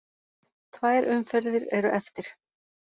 Tvær umferðir eru eftir.